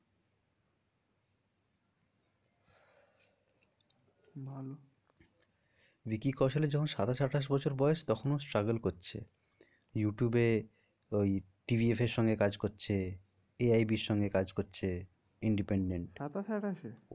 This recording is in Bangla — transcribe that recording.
ভালো ভিকি কৌশল এর যখন সাতাশ আঠাশ বছর বয়স তখন ও struggle করছে ইউটিউব এ ওই সঙ্গে কাজ করছে AIB সঙ্গে কাজ করছে independent সাতাশ আঠাশে?